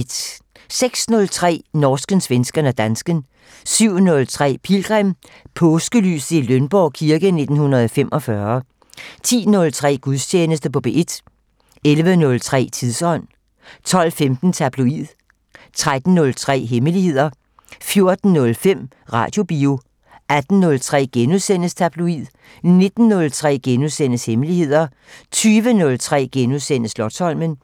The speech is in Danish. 06:03: Norsken, svensken og dansken 07:03: Pilgrim - Påskelyset i Lønborg kirke 1945 10:03: Gudstjeneste på P1 11:03: Tidsånd 12:15: Tabloid 13:03: Hemmeligheder 14:05: Radiobio 18:03: Tabloid * 19:03: Hemmeligheder * 20:03: Slotsholmen *